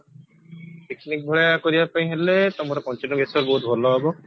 picnic ଭଳିଆ କରିବା ପାଇଁ ହେଲେ ତମର ପଞ୍ଚଲିଙ୍ଗେଶ୍ଵର ବହୁତ ଭଲ ହବ